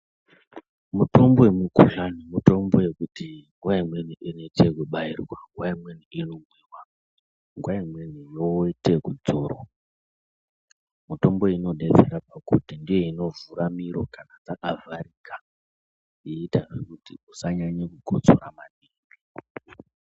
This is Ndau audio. Mutombo yemikhuhlani mitombo yekuti nguwa imweni inlite ekubairwa nguwa imweni inoite ekudzorwa mitombo iyi inodetsera kakurutu ndiyo inovhura miro kana dzakavharika yeiitazve kuti usanyanye kukotsora maningi.